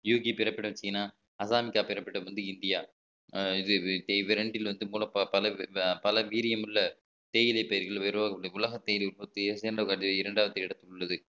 யூகி பிறப்பிடம் சீனா அசாம் வந்து இந்தியா இவ்விரண்டில் பல பல வீரியமுள்ள தேயிலை பயிர்கள் உலக தேயிலை உற்பத்தியை சேர்ந்த இரண்டாவது இடத்தில் உள்ளது